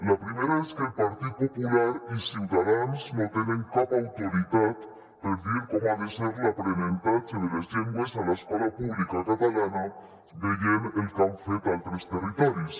la primera és que el partit popular i ciutadans no tenen cap autoritat per a dir com ha de ser l’aprenentatge de les llengües a l’escola pública catalana veient el que han fet a altres territoris